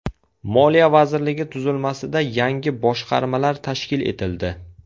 Moliya vazirligi tuzilmasida yangi boshqarmalar tashkil etildi.